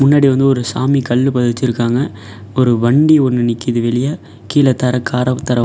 முன்னடி வந்து ஒரு சாமி கல்லு பதிச்சிருக்காங்க ஒரு வண்டி ஒன்னு நிக்கிது வெளியே கீள தர காரவ்தர.